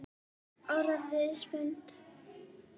Orðin spennt?